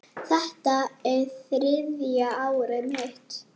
Þetta er þriðja árið mitt.